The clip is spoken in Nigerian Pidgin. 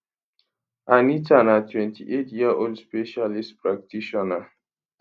anita na 28 year old specialist practitioner